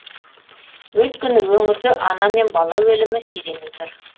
өйткені өңірде ана мен бала өлімі сиремей тұр